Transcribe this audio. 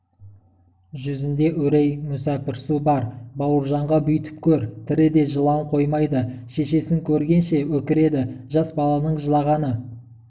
жүзінде үрей мүсәпірсу бар бауыржанға бүйтіп көр тіріде жылауын қоймайды шешесін көргенше өкіреді жас баланың жылағаны